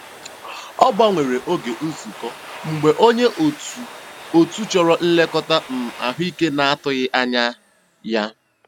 Ọ gbanwere oge nzukọ mgbe onye otu otu chọrọ nlekọta um ahụike na-atụghị anya ya.